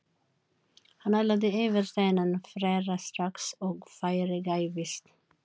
Hann ætlaði yfir þennan frera strax og færi gæfist.